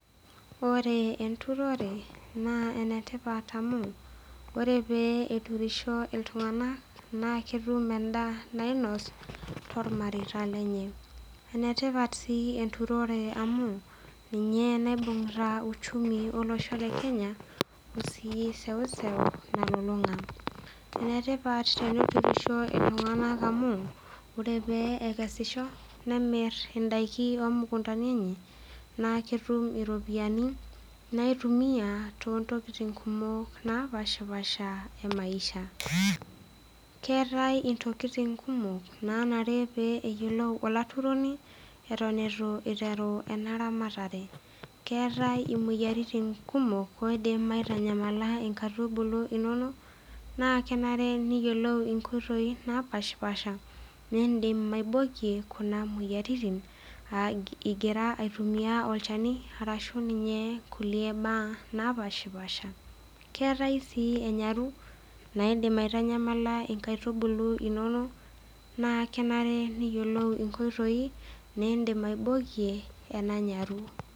Ore enturore naa enetipat amu ore pee eturisho iltunganak naa ketum endaa nainos tormareita lenye , enetipat si enturore amu ninye naibungita uchumi olosho lekenya ebaiki seuseu nalulunga . Enetipat teneturisho iltunganak amu ore pee ekesisho nemir indaiki omukuntani enye naa ketum iropiyiani naitumia toontokitin kumok napashapasha emaisha . Keetae ntokitin kumok nanare neyieolou eton itu iteru enaramatare , keetae imoyiaritin kumok naidim aitanyamala nkaitubulu inonok naa kenare neyieolu inkoitoi napashapasha nindim aibokie kuna ropiyiani ingira aitumia olchani ashu inkulie napashapasha , keetae sii imoyiaritin naidim aitanyamala nkaitubulu naa kenare neyiolou nkoitoi nindim aibokie ena nyaru.